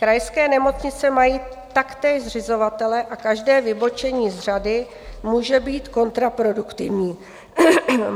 Krajské nemocnice mají taktéž zřizovatele a každé vybočení z řady může být kontraproduktivní.